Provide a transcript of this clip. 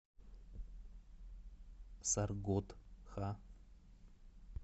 саргодха